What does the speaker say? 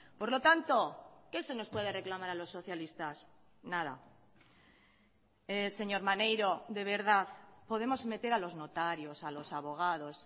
por lo tanto qué se nos puede reclamar a los socialistas nada señor maneiro de verdad podemos meter a los notarios a los abogados